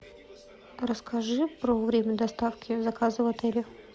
расскажи про время доставки заказа в отеле